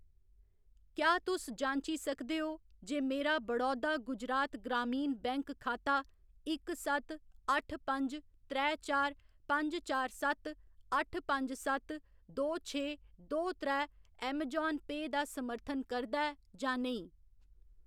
क्या तुस जांची सकदे ओ जे मेरा बड़ौदा गुजरात ग्रामीण बैंक खाता इक सत्त, अट्ठ पंज, त्रै चार, पंज चार सत्त, अट्ठ पंज सत्त, दो छे, दो त्रै अमेजान पेऽ दा समर्थन करदा ऐ जां नेईं ?